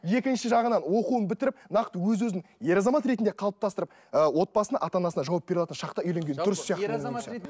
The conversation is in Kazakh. екінші жағынан оқуын бітіріп нақты өз өзін ер азамат ретінде қалыптастырып і отбасын ата анасына жауап бере алатын шақта үйленген дұрыс сияқты менің ойымша